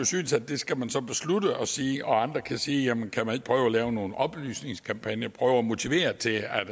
synes at det skal man beslutte at sige og andre kan sige jamen kan man ikke prøve at lave nogle oplysningskampagner prøve at motivere til at